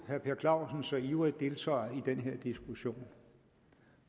herre per clausen så ivrigt deltager i den her diskussion og